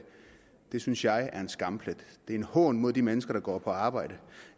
det synes jeg er en skamplet det er en hån imod de mennesker der går på arbejde